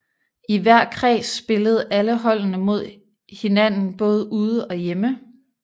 I hver kreds spillede alle holdene mod hinden både ude og hjemme